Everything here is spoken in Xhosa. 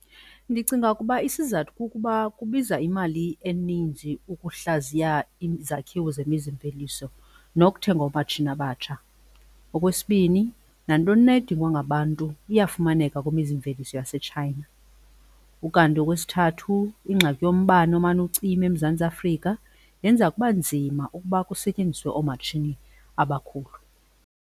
Ndicinga ukuba isizathu kukuba kubiza imali eninzi ukuhlaziya izakhiwo zemizimveliso nokuthenga oomatshini abatsha. Okwesibini nantoni na edingwa ngabantu iyafumaneka kwimizimveliso yaseChina. Ukanti okwesithathu ingxaki yombane omane ucima eMzantsi Afrika, yenza kuba nzima ukuba kusetyenziswe oomatshini abakhulu.